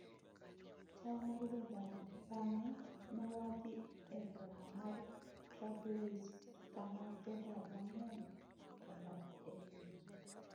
chal mar jodar bang’e, ne wadhi e boma mar Trablois kama jodar mang’eny odak e iye